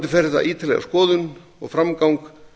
fær vonandi ítarlega skoðun og framgang